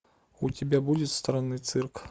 у тебя будет странный цирк